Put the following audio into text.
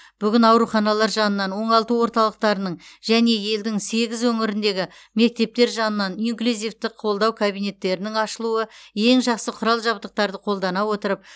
бүгін ауруханалар жанынан оңалту орталықтарының және елдің сегіз өңіріндегі мектептер жанынан инклюзивті қолдау кабинеттерінің ашылуы ең жақсы құрал жабдықтарды қолдана отырып